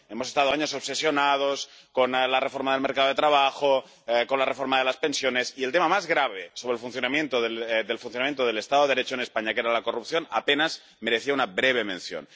Hemos estado años obsesionados con la reforma del mercado de trabajo, con la reforma de las pensiones, y el tema más grave sobre el funcionamiento del Estado de Derecho en España, que era la corrupción, apenas merecía una breve mención.